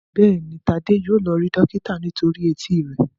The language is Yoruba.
Béèni Tade yíò lọ rí dókítà nítorí Etí rẹ.